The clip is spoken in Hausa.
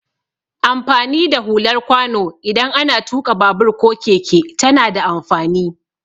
Amfani da hular kwano idan ana tuƙa babur ko keke tana da amfani.